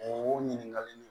O ɲininkali in